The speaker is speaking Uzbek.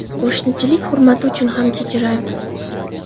Qo‘shnichilik hurmati uchun ham kechirardim.